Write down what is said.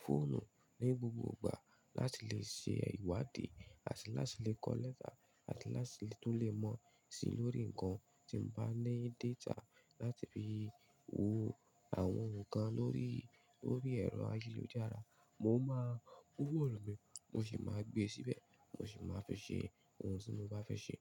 fóònù ní gbogbo ìgbà láti lè ṣe ìwádìí àti láti lè kọ lẹ́tà àti láti tún lè mọ̀ sí lórí ǹkan tí mo bá ní data láti fi wo àwọn ohun kan lórí, lórí ẹ̀rọ ayélujára. Mo máa mú fóònù mi, mo sì máa gbé síbẹ̀, mo sì máa fẹ́ ṣe ohun tí mo bá fẹ́ ṣe.